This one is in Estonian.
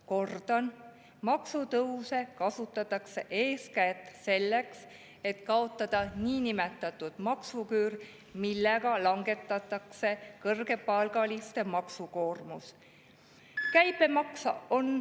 Kordan: maksutõuse kasutatakse eeskätt selleks, et kaotada niinimetatud maksuküür, ja sellega langetatakse kõrgepalgaliste maksukoormust.